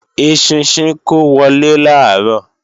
Eṣinṣin kó wọlé làárọ̀